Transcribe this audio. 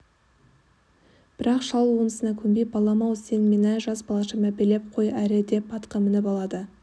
бірақ шал онысына көнбей балам-ау сен мені жас балаша мәпелеп қой әрі деп атқа мініп алады